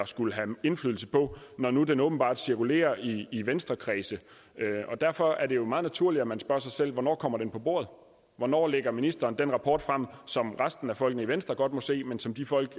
skulle have indflydelse på når nu den åbenbart cirkulerer i venstrekredse og derfor er det jo meget naturligt at man spørger sig selv hvornår kommer den på bordet hvornår lægger ministeren den rapport frem som resten af folkene i venstre godt må se men som de folk